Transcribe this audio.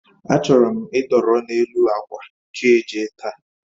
A chọrọ m idọrọ n'elu akwa chi ejie taa